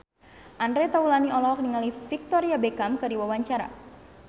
Andre Taulany olohok ningali Victoria Beckham keur diwawancara